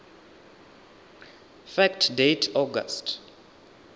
fact date august